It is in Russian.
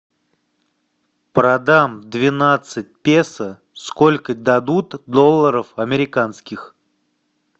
продам двенадцать песо сколько дадут долларов американских